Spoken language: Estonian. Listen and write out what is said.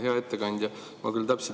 Hea ettekandja!